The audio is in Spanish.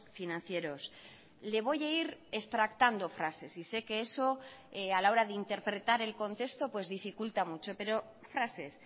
financieros le voy a ir extractando frases y sé que eso a la hora de interpretar el contexto pues dificulta mucho pero frases